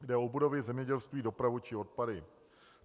Jde o budovy, zemědělství, dopravu či odpady.